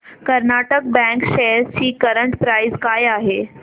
Karnataka bank shares ची current price काय आहे